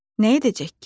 Nə edəcək ki?